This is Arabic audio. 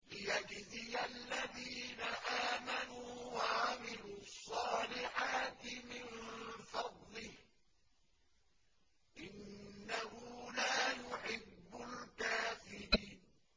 لِيَجْزِيَ الَّذِينَ آمَنُوا وَعَمِلُوا الصَّالِحَاتِ مِن فَضْلِهِ ۚ إِنَّهُ لَا يُحِبُّ الْكَافِرِينَ